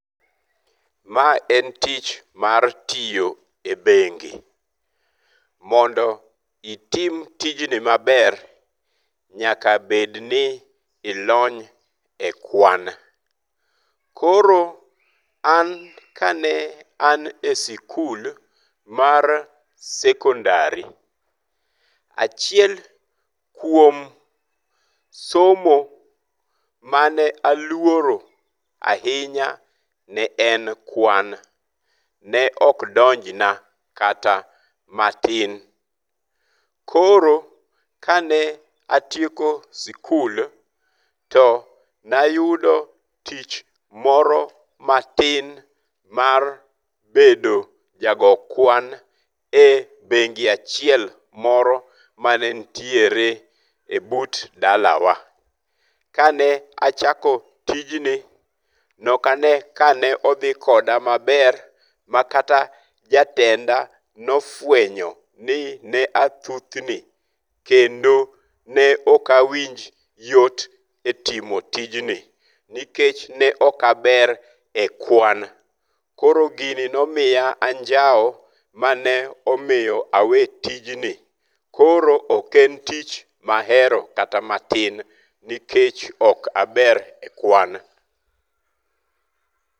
Ma en tich mar tiyo e bengi. Mondo itim tijni maber nyaka bed ni ilony e kwan. Koro an kane an e sikul mar sekondari, achiel kuom somo mane aluoro ahinya ne en kwan. Ne ok donjna kata matin. Koro ka ne atieko sikul to nayudo tich moro matin mar bedo jago kwan e bengi achiel moro mane nitiere e but dalawa. Ka ne achako tijni, nok ane kane odhi koda maber ma kata jatenda nofuenyo ni ne athuthni kendo ne ok awinj yot e timo tijni nikech ne ok aber e kwan. Koro gini ne omiya anjawo mane omiyo awe tijni. Koro ok en tich mahero kata matin nikech ok aber e kwan.